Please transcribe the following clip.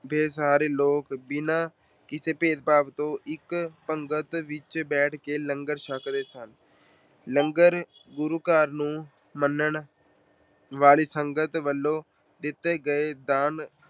ਬੇਸਹਾਰੇ ਲੋਕ ਬਿਨਾਂ ਕਿਸੇ ਭੇਦਭਾਵ ਤੋਂ ਇੱਕ ਪੰਗਤ ਵਿੱਚ ਬੈਠ ਕੇ ਲੰਗਰ ਛੱਕਦੇ ਸਨ। ਲੰਗਰ ਗੁਰੂ ਘਰ ਨੂੰ ਮੰਨਣ ਵਾਲੀ ਸੰਗਤ ਵੱਲੋਂ ਦਿੱਤੇ ਗਏ ਦਾਨ